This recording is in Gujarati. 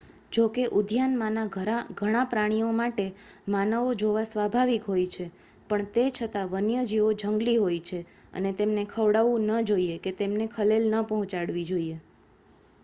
જોકે ઉદ્યાનમાંના ઘણાં પ્રાણીઓ માટે માનવો જોવા સ્વાભાવિક હોય છે પણ તે છતાં વન્યજીવો જંગલી હોય છે અને તેમને ખવડાવવું ન જોઈએ કે તેમને ખલેલ ન પહોંચાડવી જોઈએ